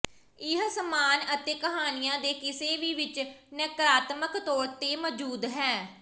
ਇਹ ਸਾਮਾਨ ਅਤੇ ਕਹਾਣੀਆ ਦੇ ਕਿਸੇ ਵੀ ਵਿਚ ਨਕਾਰਾਤਮਕ ਤੌਰ ਤੇ ਮੌਜੂਦ ਹੈ